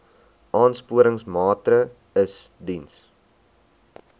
aansporingsmaatre ls diens